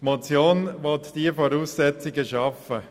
Die Motion will diese Voraussetzungen schaffen.